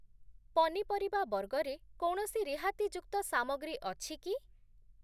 ପନିପରିବା ବର୍ଗରେ କୌଣସି ରିହାତିଯୁକ୍ତ ସାମଗ୍ରୀ ଅଛି କି?